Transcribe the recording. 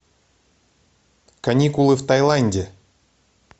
каникулы в тайланде